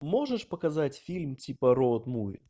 можешь показать фильм типа роуд муви